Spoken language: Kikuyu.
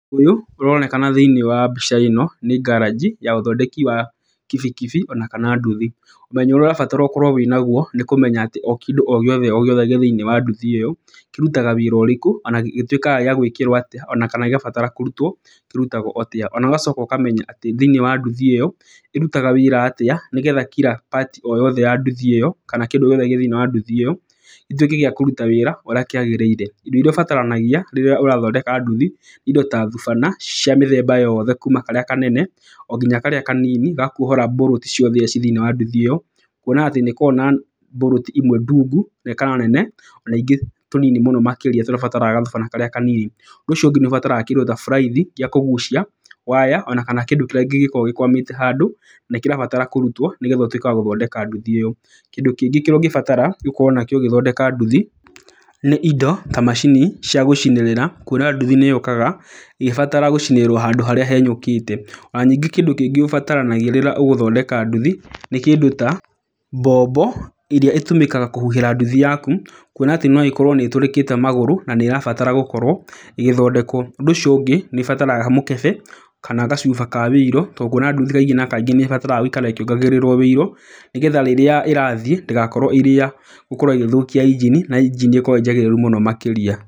Ũyũ ũronekana thĩiniĩ wa mbica ĩno nĩ garage ya ũthondeki wa kibikibi ona kana nduthi. Ũmenyo ũrĩa ũrabatara ũkorwo wĩnaguo nĩ kũmenya atĩ o kĩndũ o gĩothe o gĩothe gĩ thĩiniĩ wa nduthi ĩyo, kĩrutaga wĩra ũrĩkũ na gĩtuĩkaga gĩa gwĩkĩrwo atĩa kana gĩabatara kũrutwo kĩrutagwo atĩa. Ona ũgacoka ũkamenya atĩ thĩiniĩ wa nduthi ĩyo, ĩrutaga wĩra atĩa nĩgetha kila part ya nduthi ĩyo, kana kĩndũ gĩothe gĩ thĩiniĩ wa nduthi ĩyo gĩtuĩke gĩa kũruta wĩra ũrĩa kĩagĩrĩire. Indo irĩa ũbataranagia rĩrĩa ũrathondeka nduthi, indo tha thubana cia mĩthemba yothe kuma karia kanene o nginya karĩa kanini ga kuohora bolt ciothe irĩa ciĩ thĩiniĩ wa nduthi ĩyo. Kuona atĩ nĩ ĩkoragwo na bolt imwe ndungu kana nene, ona ingĩ tũnini mũno makĩria tũrĩa ũbataraga gathubana karĩa kanini. Ũndũ ũcio ũngĩ nĩ ũbataraga kĩndũ ta buraithi gĩa kũgucia waya ona kana kĩndĩ kĩrĩa kĩngĩkorwo gĩkwamĩte handũ na nĩkĩrabatara kũrutwo nĩgetha ũtuĩke wa gũthondeka nduthi ĩyo. Kĩndũ kĩngĩ kĩrĩa ũngĩbatara gũkorwo nakĩo ũgĩthondeka nduthi nĩ indo ta macini cia gũcinĩrĩra. Kuona nduthi nĩ yũkaga ĩgĩbatara gũcinĩrĩrwo harĩa henyũkĩte. Ona ningĩ kĩndũ kĩngĩ ũbataranagia rĩrĩa ũgũthondeka nduthi nĩ kĩndũ ta mbombo ĩrĩa ĩtũmĩkaga kũhuhĩra nduthi yaku, kuona atĩ no ĩkorwo nĩ ĩtũrĩkĩte magũrũ na nĩ ĩrabatara gũkorwo ĩgĩthondekwo. Ũndũ ũcio ũngĩ nĩ ĩbataraga mũkebe kana gacuba ka oil tondũ nguona nduthi kaingĩ na kaingĩ nĩ ĩbataraga gũikara ĩkĩongagĩrĩrwo oil. Nĩgetha rĩrĩa ĩrathiĩ ndĩgakorwo ĩrĩ ya gũthũkia engine na engine ĩkorwo ĩĩ njagĩrĩru makĩria.